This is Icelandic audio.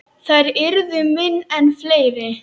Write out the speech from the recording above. Þær yrðu minni en fleiri.